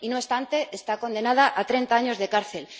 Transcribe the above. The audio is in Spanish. Y, no obstante, está condenada a treinta años de cárcel.